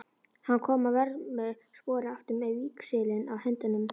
Hann kom að vörmu spori aftur með víxilinn í höndunum.